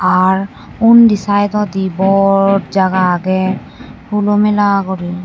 ar ondi sydodi bor jaga agey hulo mela guri.